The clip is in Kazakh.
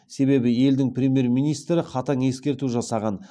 себебі елдің премьер министрі қатаң ескерту жасаған